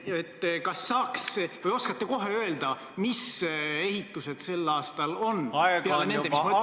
Kas te oskate öelda, mis ehitused on sel aastal veel plaanis peale nende, mida ma nimetasin?